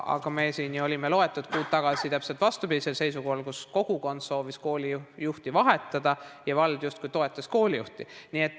Aga loetud kuud tagasi oli täpselt vastupidine seisukoht, kui kogukond soovis koolijuhti vahetada ja vald justkui toetas koolijuhti.